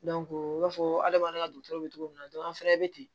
u b'a fɔ adamaden ka dɔgɔtɔrɔw bɛ cogo min na an fana bɛ ten